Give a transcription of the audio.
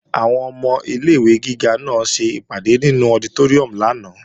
Àwọn ọmọ ilé-ìwé gíga náà ṣèpàdé nínú ọditóríùm lánàá